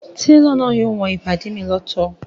Télọ̀ náà yóò wọn ìbàdí mi lọ́tọ̀